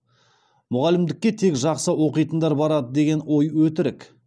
мұғалімдікке тек жақсы оқитындар барады деген ой өтірік